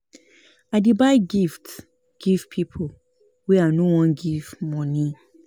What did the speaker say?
I dey buy gift give pipo wey I no wan give moni.